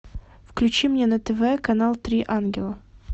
включи мне на тв канал три ангела